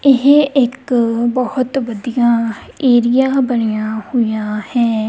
ਇਹ ਇੱਕ ਬਹੁਤ ਵਧੀਆ ਏਰੀਆ ਬਣਿਆ ਹੋਇਆ ਹੈ।